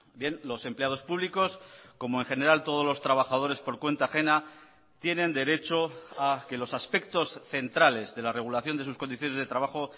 bien los empleados públicos como en general todos los trabajadores por cuenta ajena tienen derecho a que los aspectos centrales de la regulación de sus condiciones de trabajo